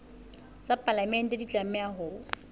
tsa palamente di tlameha ho